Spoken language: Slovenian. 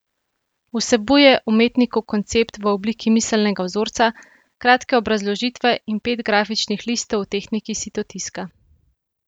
Vsebuje umetnikov koncept v obliki miselnega vzorca, kratke obrazložitve in pet grafičnih listov v tehniki sitotiska.